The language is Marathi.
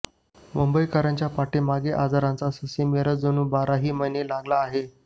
मुंबईकरांच्या पाठीमागे आजारांचा ससेमिरा जणू बाराही महिने लागला आहे